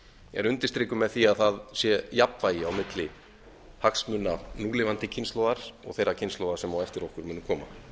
er undirstrikuð með því að það sé jafnvægi á milli hagsmuna núlifandi kynslóðar og þeirrar kynslóðar sem á eftir okkur muni koma þá erum